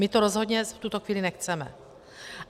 My to rozhodně v tuto chvíli nechceme.